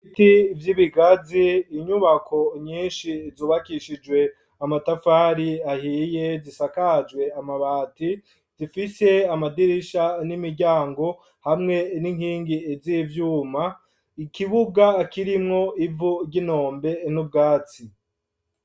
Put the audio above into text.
Ibiti vy'ibigazi, inyubako nyinshi zubakishijwe amatafari ahiye, zisakajwe amabati, zifise amadirisha n'imiryango, hamwe n'inkingi z'ivyuma, ikibuga kirimwo ivu ry'inombe, n'ubwatsi.